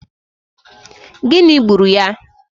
Gịnị gburu ya?